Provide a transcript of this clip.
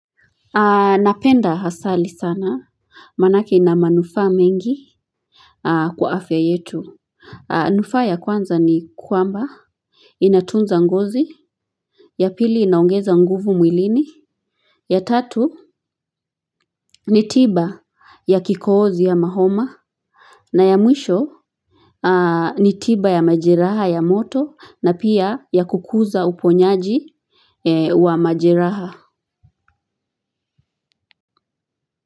Napenda asali sana manake ina manufaa mingi. Kwa afya yetu nufaa ya kwanza ni kwamba inatunza ngozi. Ya pili inaongeza nguvu mwilini. Ya tatu ni tiba ya kikohozi ya ama homa. Na ya mwisho ni tiba ya majiraha ya moto na pia ya kukuza uponyaji wa majiraha.